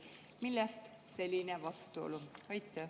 Millest selline vastuolu?